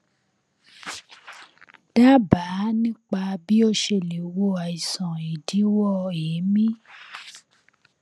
dábàá nípa bí ó ṣe lè wo àìsàn ìdíwọ èémí